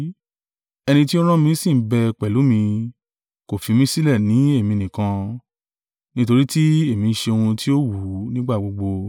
Ẹni tí ó rán mí sì ń bẹ pẹ̀lú mi, kò fi mí sílẹ̀ ní èmi nìkan; nítorí tí èmi ń ṣe ohun tí ó wù ú nígbà gbogbo.”